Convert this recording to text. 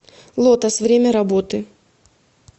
лотос время работы